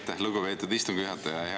Aitäh, lugupeetud istungi juhataja!